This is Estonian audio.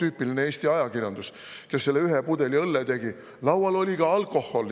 Tüüpiline Eesti ajakirjandus tegi sellest ühest õllepudelist: "Laual oli ka alkohol!